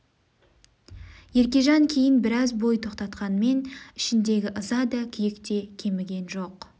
еркежан кейін біраз бой тоқтатқанмен ішіндегі ыза да күйік те кеміген жоқ